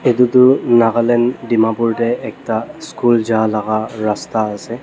etu toh nagaland dimapur tae ekta school ja laga rasta asa.